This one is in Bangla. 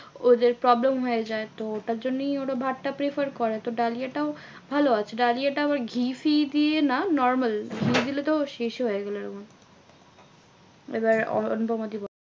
ওদের problem হয়ে যায় তো ওটার জন্যেই ওরা ভাতটা prefer করে। তো ডালিয়া টাও ভালো আছে। ডালিয়াটা আবার ঘি ফি দিয়ে না normal. ঘি দিলে তো শেষ হয়ে গেলো এমন। এবার অনু অনুপমা দি বলো?